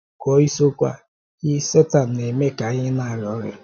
Gụọ isiokwu a: Ị̀ Sàtàn na-eme ka anyị na-arịa ọrịa?